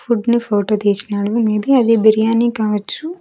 Food ని photo తీసినాడు maybe అది బిర్యానీ కావచ్చు.